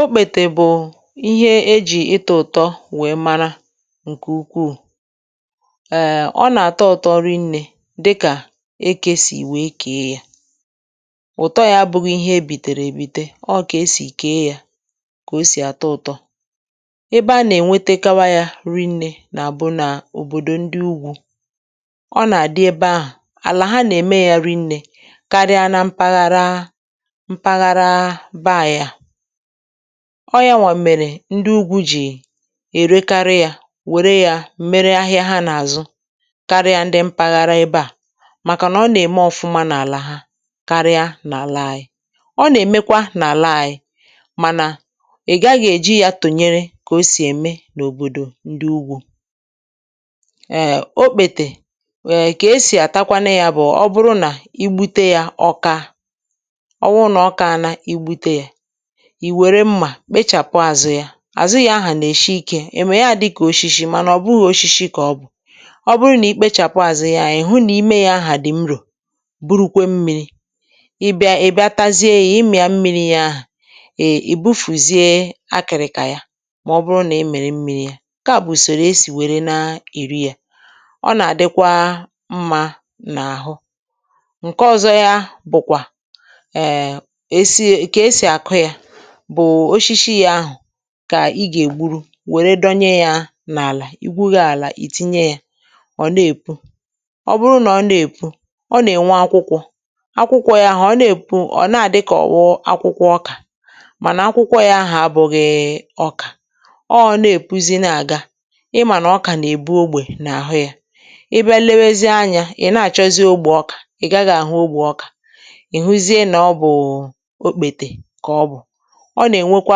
Òkpètè bụ̀ ihe ejì ịtà ụ̀tọ̀, nwèé mara ǹkè ùkwùù. Ẹẹ, ọ̀ nà-àtọ̀ ụ̀tọ̀ rìnné dị́kà èké sì wèe kèe yá. Ụ̀tọ̀ yá bụ̇ ihe ebìtèrè èbìte; ọọ̀ kà e sì kèe yá kà ọ sì àtọ̀ ụ̀tọ̀. Ebe a nà-ènwetekwara yá rìnné nà-àbụ̀ nà òbòdò ndị Ụ́gwù, ọ̀ nà-àdị ebe ahụ̀ àlà ha nà-èmè yá rìnné karịa na mpaghara ọ̀. Yá nwà mèré, ndị Ụ́gwù jì èrékarị yá, wèrè yá m̀mèrè ahịa ha nà-àzụ̀ karịa ndị mpaghara ebe à. Màkànà, ọ̀ nà-èmè ọ̀fụ̀mà n’àlà karịa n’àlàa yi, ọ̀ nà-èmèkwà n’àlàa yi, mànà ị gaghị̇ ejì yá tụnyere kà ọ sì èmè n’òbòdò ndị Ụ́gwù. (hmm)Èé, òkpètè kà esì àtakwanụ, ya bụ̀: ọ̀ bụrụ̀ nà ì gbutè yá ọ̀kà, ì wèrè mmà kpechàpụ àzụ́ yá. Àzụ́ yá ahụ̀ nà-èshi ìké, ì mú yá dị́kà òshíshí. Mànà ọ̀ bụghị̇ òshíshí kà ọ bụ̀; ọ̀ bụrụ̀ nà ì kpechàpụ àzụ́ yá, ị̀ hụ̀ nà ìmé yá ahụ̀ dị̀ mrọ̀, burukwè mmi̇ri̇. Ị̀ bịatàzie, ị̀ ímì yá mmi̇ri̇, ahà ì ọ̀ búfùzie kà yá. Mà ọ̀ bụrụ̀ nà ì mèrè mmi̇ri̇ yá, ǹkè à bụ̀ ùsòrò esì wèrè na-ìrí yá. Ọ̀ nà-àdịkwà mmā n’àhụ́. Ǹkè ọ̇zọ̇ yá bụ̀kwà òshíshí yá ahụ̀: kà ì gà-ègburu, wèrè dọnye yá n’àlà, ì gwùghì àlà, ì tìnyè yá. Ọ̀ na-èpù, ọ̀ bụrụ̀ nà ọ̀ na-èpù, ọ̀ nà-ènwe akwàkwọ̇ akwàkwọ̇ yá ahụ̀. Ọ̀ na-èpù, ọ̀ nà-àdịkọ̀bụ akwàkwọ̇ ọ̀kà, mànà akwàkwọ̇ yá ahụ̀ abụghị ọ̀kà. (ehm)Ọọ̀, na-èpùzì, na-àgà í mà nà ọ̀kà nà-èbù ogbè n’àhụ́ yá. Ị̀ bịa, lewèzie anya, ị̀ na-àchọzi ogbù ọ̀kà, ị̀ gaghị̇ àhụ́ ogbù ọ̀kà. Ị̀ hụ̀zìe nà ọ̀ bụ̀, ọ̀ nà-ènwèkwà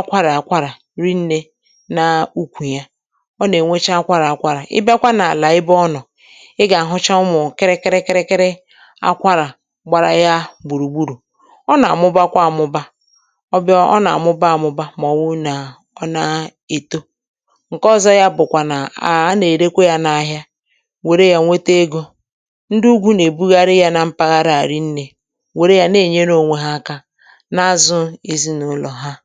àkwárà-àkwárà rìnné n’ùkwù yá. Ọ̀ nà-ènwechà àkwárà-àkwárà. Ị̀ bịakwà n’àlà ebe ọ nọ̀, ị̀ gà-àhụ́chà ụmụ̀ kìrì-kìrì-kìrì àkwárà gbàrà yá gbùrùgburù̇. Ọ̀ nà-àmụ́ba kwà-àmụ́ba, ọ̀ bịa, ọ̀ nà-àmụ́ba-àmụ́ba. Màọ̀wụ̀ nà ọ̀ nà-èto ǹkè ọ̇zọ̇, ya bụ̀kwà nà-àà, a nà-èrèkwà yá n’ahịa, wèrè yá nwète egò. Ndị Ụ́gwù nà-èbugharì yá nà mpaghara à rìnné, wèrè yá nà-ènye ònwé ha aka. (um)Ǹsí àma, ọ̀tụtụ ihe à nà-èkpò, ọ̀tụtụ!